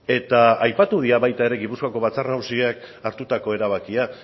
eta aipatu dira baita ere gipuzkoako batzar nagusiek hartutako erabakia